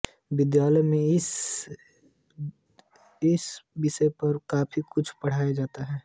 विद्यालयों मे भी इस विषय पर काफी कुछ पढ़ाया जाता है